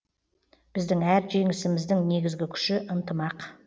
біздің әр жеңісіміздің негізгі күші ынтымақ